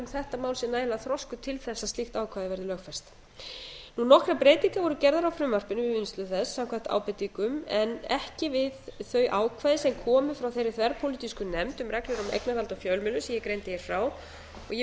þetta mál sé nægilega þroskuð til þess að slíkt ákvæði verði lögfest nokkrar breytingar voru gerðar á frumvarpinu við vinnslu þess samkvæmt ábendingum en ekki við þau ákvæði sem komu frá þeirri þverpólitísku nefnd um reglur um eignarhald á fjölmiðlum sem ég greindi hér frá og ég mun